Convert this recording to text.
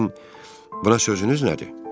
Sizin buna sözünüz nədir?